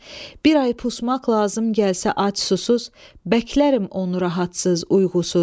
Bir ay pusmaq lazım gəlsə ac susuz, bəklərim onu rahatsız uyğusuz.